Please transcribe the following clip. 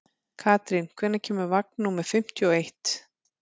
Karín, hvenær kemur vagn númer fimmtíu og eitt?